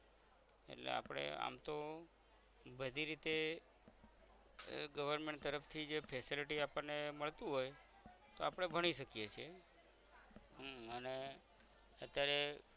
એટલે આપણે આમ તો બધી રીતે આહ government તરફ થી જે facility આપણ ને મળતું હોય તો અપરે ભણી શકીએ છે હમ અને અત્યારે